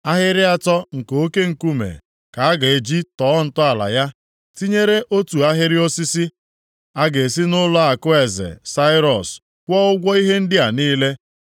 Ahịrị atọ nke oke nkume ka a ga-eji tọọ ntọala ya, tinyere otu ahịrị osisi. A ga-esi nʼụlọakụ eze Sairọs kwụọ ụgwọ ihe ndị a niile.